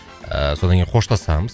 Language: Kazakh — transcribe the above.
ыыы содан кейін қоштасамыз